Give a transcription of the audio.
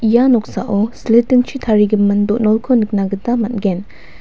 ia noksao silitingchi tarigimin do·nolko nikna gita man·gen.